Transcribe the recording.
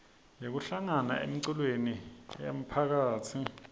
yekuhlangana emiculweni yemphakatsi